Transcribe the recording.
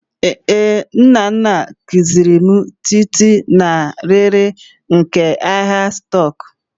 Ee, Nnanna kuziri m tịịtị na riiri nke ahịa stock